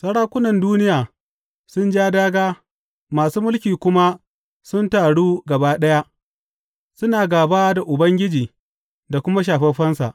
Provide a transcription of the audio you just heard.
Sarakunan duniya sun ja dāgā, masu mulki kuma sun taru gaba ɗaya, suna gāba da Ubangiji da kuma Shafaffensa.’